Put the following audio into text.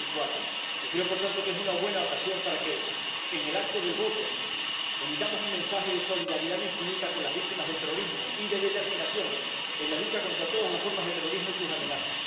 2004. Y creo, por tanto, que es una buena ocasión para que en el acto del voto emitamos un mensaje de solidaridad infinita con las víctimas del terrorismo y de determinación en la lucha contra todas las formas de terrorismo y sus amenazas.